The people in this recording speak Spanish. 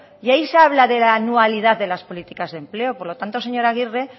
y ahí se habla de la anualidad de las políticas de empleo por lo tanto señora arregi